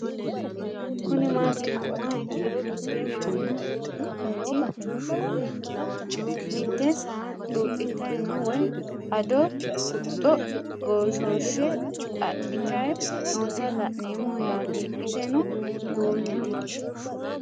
Kuni mati yinumoha ikiro mite manch mite saa xuxitay no woyi addo guxo goshosh axitay noota la'nemo yaate iseno duumete